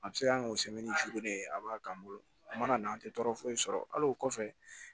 A bɛ se ka kɛ o sɛmɛni joona de ye a b'a k'an bolo a mana na an tɛ tɔɔrɔ foyi sɔrɔ hali o kɔfɛ